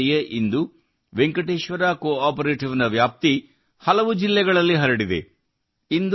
ನೋಡುತ್ತಿದ್ದಂತೆಯೇಇಂದು Venkateshwara cooperative ನ ವ್ಯಾಪ್ತಿ ಹಲವು ಜಿಲ್ಲೆಗಳಲ್ಲಿ ಹರಡಿದೆ